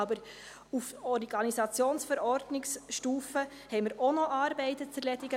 Aber auf Stufe der Organisationsverordnungen haben wir auch noch Arbeiten zu erledigen.